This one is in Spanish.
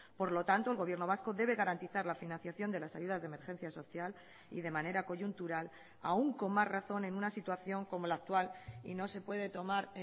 por lo tanto el gobierno vasco debe garantizar la financiación de las ayudas de emergencia social y de manera coyuntural aún con más razón en una situación como la actual y no se puede tomar